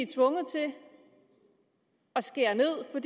tvunget til at skære ned for